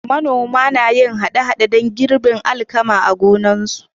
Manoman na yin aikin haɗa-haɗa don girbin alkama a gonakinsu.